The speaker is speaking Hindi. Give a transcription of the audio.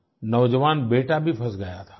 नौजवान बेटा भी फँस गया था